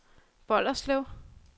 Bolderslev